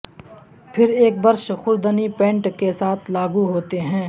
پھر ایک برش خوردنی پینٹ کے ساتھ لاگو ہوتے ہیں